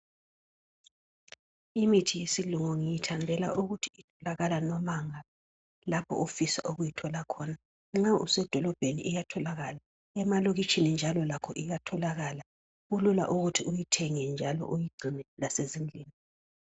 Imithi yesilungu ngiyithandela ukuthi itholakala nomaphi lapho ofisa ukuyithola khona. Nxa usedolobheni iyatholakala, emalokitshini njalo lakho iyatholakala. Kulula ukuthi uyithenge njalo uyigcine lasezindlini.